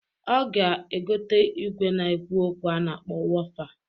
Ọ ga-egota igwe na-ekwu okwu a na-akpọ wofa.